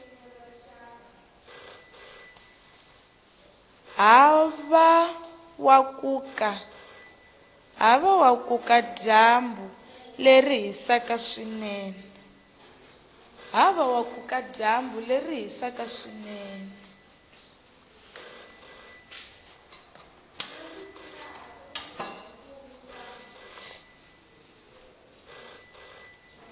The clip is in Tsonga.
havawakuka dyambu leri hisaku swinene